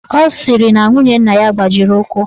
Ọ sịrị na nwunye nna ya gbajiri ụkwụ